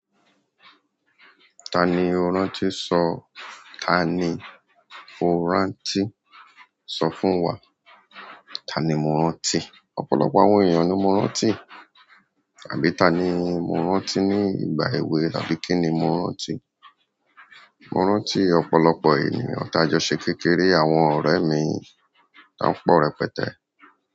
Tani ó rántí sọ, tani ó rántí sọ fún wa? Tani mó rántí? Ọ̀pọ̀lọpọ̀ àwọn ẹyan ni mo rántí. Àbí tani mó rántí ní ìgbà èwe tàbí kíni mó rántí? Mò rántí ọ̀pọ̀lọpọ̀ ènìyàn tí a jọ ṣe kékeré àwọn ọ̀rẹ́ mi ton pọ̀ rẹpẹtẹ́.